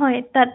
হয় তাত